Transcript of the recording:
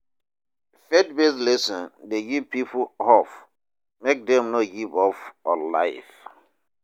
Faith based lesson de give pipo hope make dem no give up on life